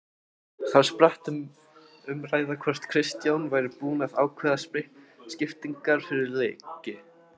Þar spratt um umræða hvort Kristján væri búinn að ákveða skiptingarnar fyrir leiki.